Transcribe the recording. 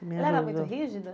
Ela era muito rígida?